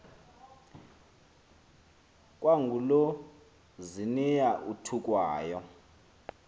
kwangulo ziniya uthukwayo